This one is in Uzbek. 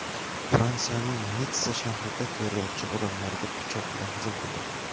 Fransiyaning Nitssa shahrida terrorchi odamlarga pichoq bilan hujum qildi.